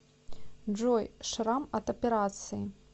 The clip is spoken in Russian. джой шрам от операции